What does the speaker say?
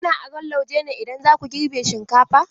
Kuna aron lauje ne idan za ku girbe shinkafa?